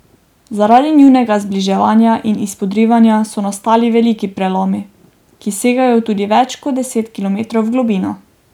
Zaradi njunega zbliževanja in izpodrivanja so nastali veliki prelomi, ki segajo tudi več kot deset kilometrov v globino.